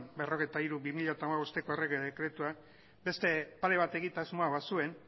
berrogeita hiru barra bi mila hamabosteko errege dekretuan beste pare bat egitasmo bazuen